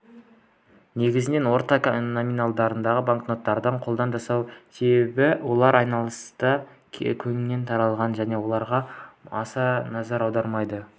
негізінен орта номиналдағы банкноттарды қолдан жасайды себебі олар айналыста кеңінен таралған және оларға баса назар аудармайды